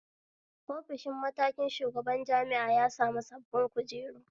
Ofishi mataikin shugaban jami'a ya sami sabbin kujeru